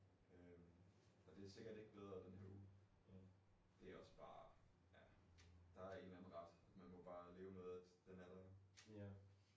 Øh og det sikkert ikke bedre den her uge det også bare ja der er en eller anden ret man må bare leve med at den er der